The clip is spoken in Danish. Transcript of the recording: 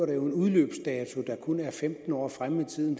en udløbsdato der kun ligger femten år frem i tiden